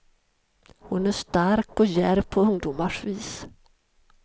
Hon är stark och djärv på ungdomars vis.